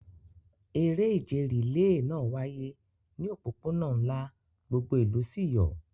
Eré ìje rìléè náà wáyé ní òpópónà ńlá, gbogbo ìlú sì yọ̀.